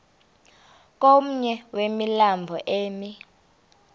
komnye wemilambo emi